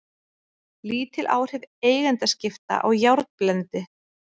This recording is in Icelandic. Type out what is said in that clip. Lítil áhrif eigendaskipta á járnblendi